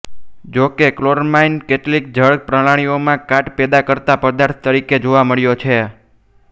જો કે ક્લોરેમાઇન કેટલીક જળ પ્રણાલીઓમાં કાટ પેદા કરતા પદાર્થ તરીકે જોવા મળ્યો છે